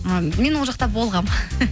ы мен ол жақта болғанмын